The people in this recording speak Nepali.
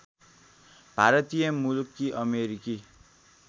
भारतीय मूलकी अमेरिकी